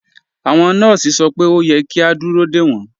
Awọn nọọsì sọ pé o yẹ̀ kí a dúró de wọn.